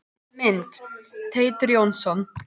Mynd: Teitur Jónsson.